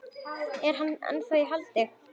Er hann ennþá í haldi?